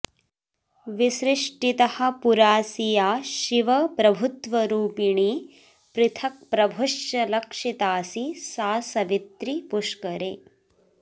विसृष्टितः पुराऽसि या शिवप्रभुत्वरूपिणी पृथक्प्रभुश्च लक्षिताऽसि सा सवित्रि पुष्करे